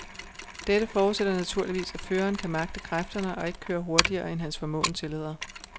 Dette forudsætter naturligvis at føreren kan magte kræfterne og ikke kører hurtigere end hans formåen tillader.